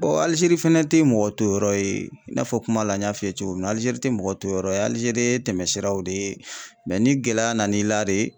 Alizeri fɛnɛ te mɔgɔ toyɔrɔ ye i n'a fɔ kuma la n y'a f'i ye cogo min na Alizeri tɛ mɔgɔ toyɔrɔ ye Alizeri ye tɛmɛsiraw de ye ni gɛlɛya nan'i la de